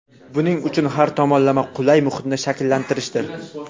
buning uchun har tomonlama qulay muhitni shakllantirishdir.